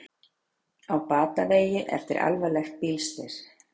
Á batavegi eftir alvarlegt bílslys